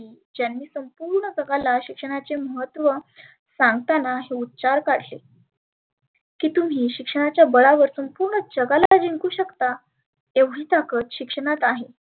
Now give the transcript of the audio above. ज्यांनी संपुर्ण जगाला शिक्षणाचे महत्व सांगताना उच्चार काढले. की तुम्ही शिक्षणाच्या बळावरती पुर्ण जगाला जिंकु शकता. एवढी ताकद शिक्षणात आहे.